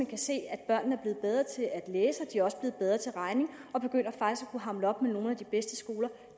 kan se at børnene er blevet bedre til at læse de er også blevet bedre til regning og begynder faktisk at kunne hamle op med nogle af de bedste skoler